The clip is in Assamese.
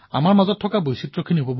আমাৰ কিমান বৈচিত্ৰতা আছে